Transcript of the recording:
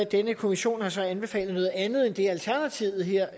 denne kommission har så anbefalet noget andet end det alternativet her